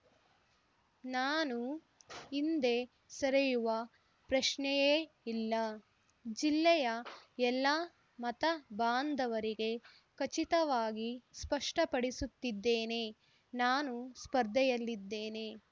ನಾನು ಹಿಂದೆ ಸರಿಯುವ ಪ್ರಶ್ನೆಯೇ ಇಲ್ಲ ಜಿಲ್ಲೆಯ ಎಲ್ಲ ಮತ ಬಾಂಧವರಿಗೆ ಖಚಿತವಾಗಿ ಸ್ಪಷ್ಟಪಡಿಸುತ್ತಿದ್ದೇನೆ ನಾನು ಸ್ಪರ್ಧೆಯಲ್ಲಿದ್ದೇನೆ